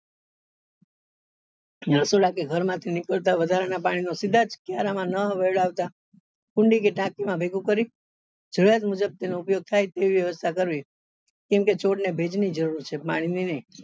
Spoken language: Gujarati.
રસોડા કે ઘર માંથી નીકળતા વધારા ના પાણી ને સીધા જ કુંડા માં નાં વેડાવતા કુંડી કે ટાંકી માં ભેગું કરી જરૂરિયાત મુજબ તેનો ઉપયોગ થાય તેવી વ્યવસ્થા કરવી કેમ કે છોડ ને ભેજ ની જરૂર છે પાણી ની નહી